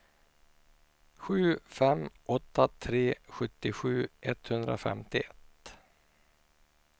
sju fem åtta tre sjuttiosju etthundrafemtioett